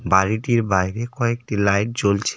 বাড়িটির বাইরে কয়েকটি লাইট জ্বলছে.